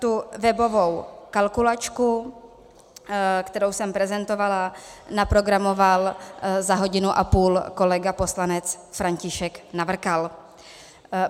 Tu webovou kalkulačku, kterou jsem prezentovala, naprogramoval za hodinu a půl kolega poslanec František Navrkal.